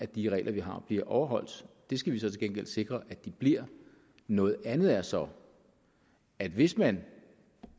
de regler vi har bliver overholdt det skal vi så til gengæld sikre at de bliver noget andet er så at hvis man